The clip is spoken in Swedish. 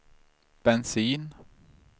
bensin